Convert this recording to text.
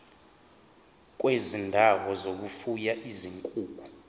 kwezindawo zokufuya izinkukhu